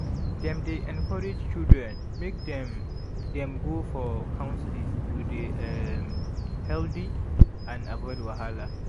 dem dey encourage children make dem dem go for counseling to dey um healthy and avoid wahala.